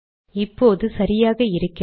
இப்போது சரியாக இருக்கிறது